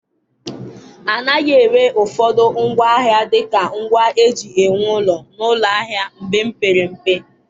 A naghị ere ụfọdụ ngwaahịa dị ka ngwa eji ewu ụlọ n'ụlọ ahịa mgbe m pere mpe.